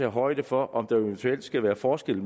højde for om der eventuelt skal være forskel